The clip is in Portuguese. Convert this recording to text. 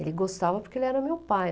Ele gostava porque ele era meu pai.